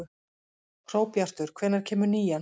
Hróbjartur, hvenær kemur nían?